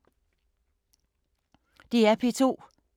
DR P2